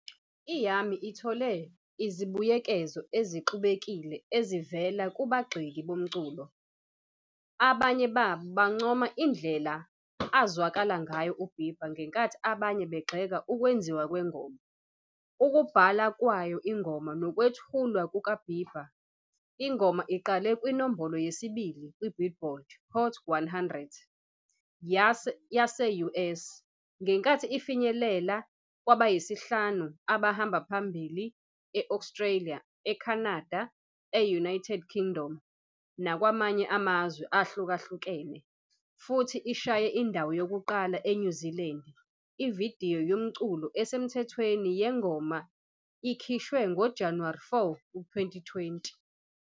I- "Yummy" ithole izibuyekezo ezixubekile ezivela kubagxeki bomculo, abanye babo bancoma indlela azwakale ngayo uBieber ngenkathi abanye begxeka ukwenziwa kwengoma, ukubhala kwayo ingoma nokwethulwa kukaBieber. Ingoma iqale kwinombolo yesibili ku- "Billboard" Hot 100 yase-US, ngenkathi ifinyelela kwabayisihlanu abahamba phambili e-Australia, Canada, e-United Kingdom nakwamanye amazwe ahlukahlukene, futhi ishaye indawo yokuqala eNew Zealand. Ividiyo yomculo esemthethweni yengoma ikhishwe ngoJanuwari 4, 2020.